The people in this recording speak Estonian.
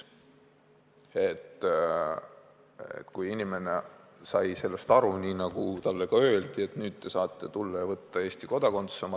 Inimene sai aru nii, nagu talle ka öeldi, et nüüd te saate tulla ja võtta oma lapsele Eesti kodakondsuse.